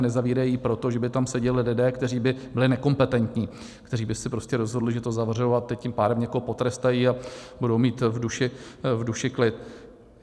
A nezavírají ji proto, že by tam seděli lidé, kteří by byli nekompetentní, kteří by se prostě rozhodli, že to zavřou a teď tím pádem někoho potrestají a budou mít v duši klid.